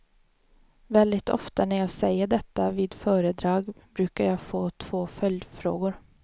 Väldigt ofta när jag säger detta vid föredrag brukar jag få två följdfrågor.